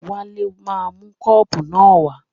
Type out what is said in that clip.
Wálé máa mú kọ́ọ̀pù náà wá.